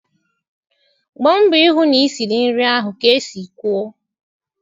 Gba mbọ ịhụ na isiri nri ahụ ka e si kwuo